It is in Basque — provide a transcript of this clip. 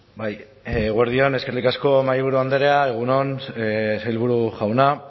bai eguerdi on eskerrik asko mahaiburu andrea egun on sailburu jauna